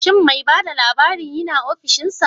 Shin me bada labarin yina offishinsa?